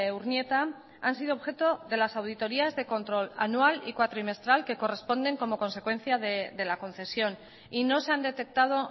urnieta han sido objeto de las auditorias de control anual y cuatrimestral que corresponde como consecuencia de la concesión y no se han detectado